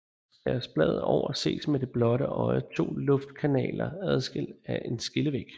Skæres bladet over ses med det blotte øje 2 luftkanaler adskilt af en skillevæg